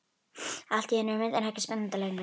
Allt í einu er myndin ekki spennandi lengur.